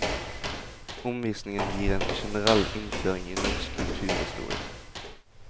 Omvisningen gir en generell innføring i norsk kulturhistorie.